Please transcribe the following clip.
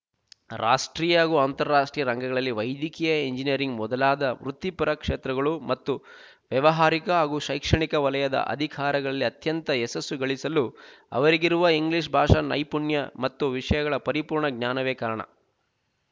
ರಾಷ್ಟ್ರೀಯ ಹಾಗೂ ಅಂತರರಾಷ್ಟ್ರೀಯ ರಂಗಗಳಲ್ಲಿ ವೈಲಿಕೀಯ ಎಂಜಿನಿಯರಿಂಗ್ ಮೊದಲಾದ ವೃತ್ತಿಪರ ಕ್ಷೇತ್ರಗಳು ಮತ್ತು ವ್ಯಾವಹಾರಿಕ ಹಾಗೂ ಶೈಕ್ಷಣಿಕ ವಲಯದ ಅಧಿಕಾರಿಗಳಲ್ಲಿ ಅತ್ಯಂತ ಯಶಸ್ಸು ಗಳಿಸಲು ಅವರಿಗಿರುವ ಇಂಗ್ಲೀಷ್ ಭಾಷಾ ನೈಪುಣ್ಯ ಮತ್ತು ವಿಷಯಗಳ ಪರಿಪೂರ್ಣ ಜ್ಞಾನವೇ ಕಾರಣ